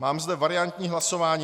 Mám zde variantní hlasování.